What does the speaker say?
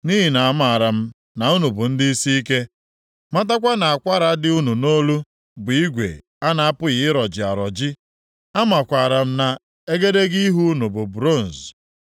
Nʼihi na amaara m na unu bụ ndị isiike, matakwa na akwara dị unu nʼolu bụ igwe a na-apụghị ịrọji arọji. Amakwaara m na egedege ihu unu bụ bronz.